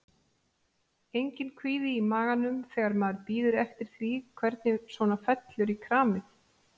Enginn kvíði í maganum þegar maður bíður eftir því hvernig svona fellur í kramið?